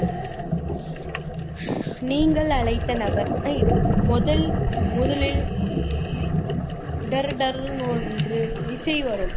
நீங்கள் அழைத்த நபர் முதல் முதலில் டர்டர்ன்னு ஒன்று இசை வரும்